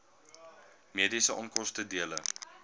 mediese onkoste dele